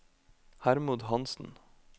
Hermod Hanssen